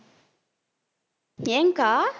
ஏன்க்கா